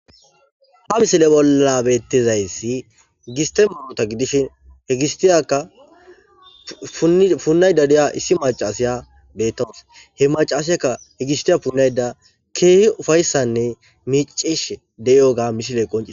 Ha misile bollabettizayssi gistemaota gidishin hegistiyaka punay dadiya issi macaasiya beettawos he macaasiyakka hegistiya punayda keehi ufayssanne miicish deyoga misile qoncie